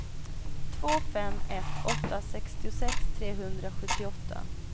två fem ett åtta sextiosex trehundrasjuttioåtta